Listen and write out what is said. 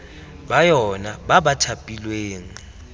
ba yona ba ba thapilweng